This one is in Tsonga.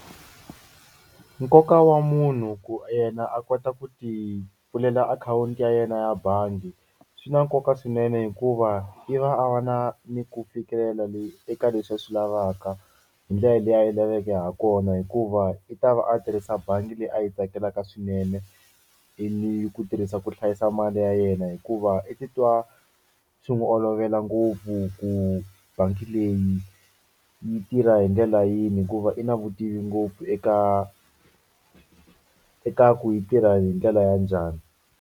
Nkoka wa munhu ku yena a kota ku tipfulela akhawunti ya yena ya bangi swi na nkoka swinene hikuva i va a va na ni ku fikelela leyi eka leswi a swi lavaka hi ndlela leyi a yi laveke ha kona hikuva i ta va a tirhisa bangi leyi a yi tsakelaka swinene i ku tirhisa ku hlayisa mali ya yena hikuva i titwa swi n'wi olovela ngopfu ku bangi leyi yi tirha hi ndlela yini hikuva i na vutivi ngopfu eka eka ku yi tirha hi ndlela ya njhani.